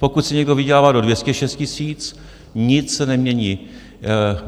Pokud si někdo vydělává do 206 tisíc, nic se nemění.